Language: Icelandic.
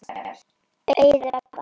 Auður Ebba.